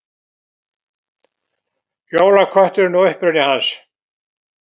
Jólakötturinn og uppruni hans.